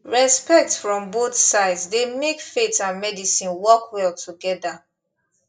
respect from both sides dey make faith and medicine work well together